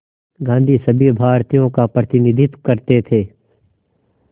गांधी सभी भारतीयों का प्रतिनिधित्व करते थे